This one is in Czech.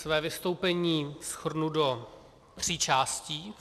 Své vystoupení shrnu do tří částí.